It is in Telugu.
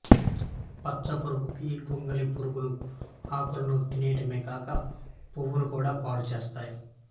పచ్చపురుగు ఈ గొంగళి పురుగులు ఆకులను తినివేయడమే కాక పువ్వును కూడా పాడుచేస్తాయి